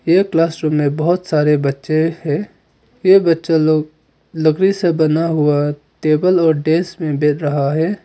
ये class room में बहोत सारे बच्चे हैं ये बच्चे लोग लकड़ी से बना हुआ टेबल और डेस्क में बेर रहा है।